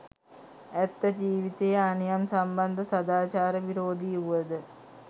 ඇත්ත ජීවිතයේ අනියම් සම්බන්ධ සදාචාර විරෝධී වුවද